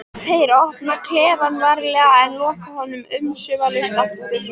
Þeir opna klefann varlega en loka honum umsvifalaust aftur.